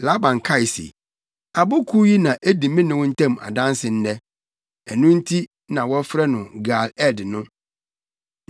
Laban kae se, “Abo Kuw yi na edi me ne wo ntam adanse nnɛ!” Ɛno nti na wɔfrɛ no Gal-Ed no.